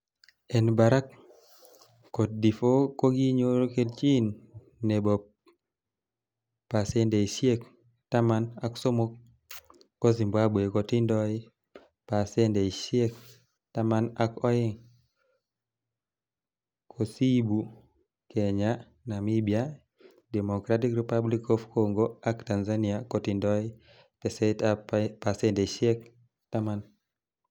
En barak, coted'ivore kokinyor kelchin nebo pasendeisiek taman ak somok, ko Zimbabwe kotindoi pasendeisiek taman ak oeng, kosiibu Kenya, Namibia, Democratic republic of Congo ak Tanzania kotindoi teset ab pasendeisiek taman.